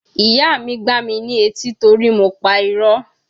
Ìyá mi gbá mi ní etí torí mo pa irọ́.